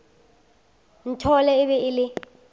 nthole e be e le